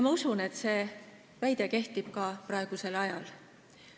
Ma usun, et see väide kehtib ka praegusel ajal.